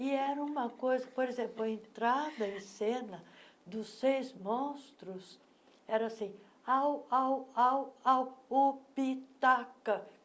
E era uma coisa... Por exemplo, a entrada em cena dos seis monstros era assim, ao, ao, ao, ao, o, pi, ta, ca.